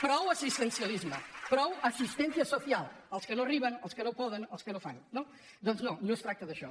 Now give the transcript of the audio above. prou assistencialisme prou asistencia social els que no hi arriben els que no poden els que no fan no doncs no no es tracta d’això